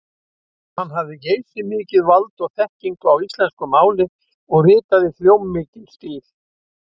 Hann hafði geysimikið vald og þekkingu á íslensku máli og ritaði hljómmikinn stíl.